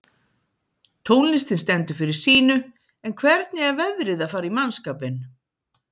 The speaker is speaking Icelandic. Tónlistin stendur fyrir sínu en hvernig er veðrið að fara í mannskapinn?